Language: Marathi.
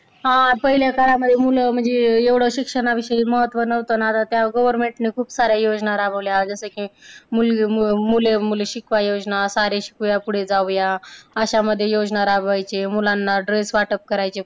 हा, पहिल्या काळामध्ये मुलं म्हणजे एवढं शिक्षणाविषयी महत्त्व नव्हतं आणि आता त्या government खूप साऱ्या योजना राबविल्या जसं की, मुलग, मुलं मुले -मुली शिकवा योजना, सारे शिकूया पुढे जाऊया. अशा मध्ये योजना राबवायचे. मुलांना dress वाटप करायचे.